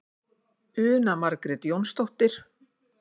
Una Margrét Jónsdóttir.